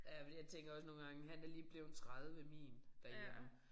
Ja fordi jeg tænker også nogle gange han er lige blevet 30 min derhjemme